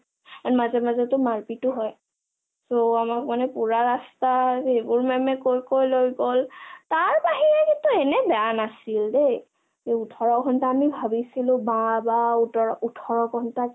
and মাজে মাজেটো মাৰপিতো হয় so আমাক পোৰা ৰাস্তাত সেইবোৰ maam কয় কয় লৈ গল, তাৰ বাহিৰে কিন্তু এনে বেয়া নাছিল দেই এ ওঠৰ ঘণ্টা আমি ভাবিছিলো বা বা ওঠৰ ঘণ্টা